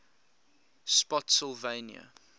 spottsylvania